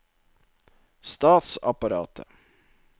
statsapparatet